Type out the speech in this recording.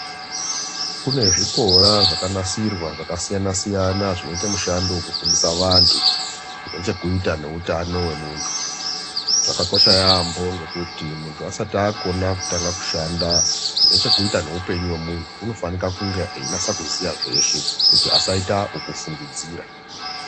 Kune zvikora zvekanasirwa zvakasiyana-siyana zvino ita mushando vekufundisa antu. Zvinechekuita ngeutano vemuntu, zvakakosha yaambo ngekuti muntu asati akona kutanga kushanda zvinechekuita neupenyu ventu. Unofanika kunga einasa kuziya zveshe kuti asaita vekufungidzira.